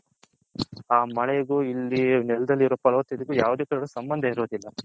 ಆ ಮಳೆಗು ಇಲ್ಲಿ ನೆಲದಲ್ಲಿ ಇರೋ ಪರ್ವತ ಇದುಕು ಯಾವುದೇ ರೀತಿಯ ಸಂಬಂದ ಇರೋದಿಲ.